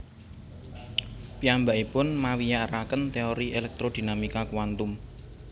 Piyambakipun mawiyaraken téori elektrodinamika kuantum